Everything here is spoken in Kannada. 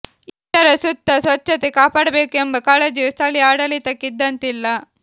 ಇದರ ಸುತ್ತ ಸ್ವಚ್ಛತೆ ಕಾಪಾಡಬೇಕು ಎಂಬ ಕಾಳಜಿಯೂ ಸ್ಥಳೀಯ ಆಡಳಿತಕ್ಕೆ ಇದ್ದಂತಿಲ್ಲ